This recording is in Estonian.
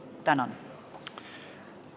Tänan!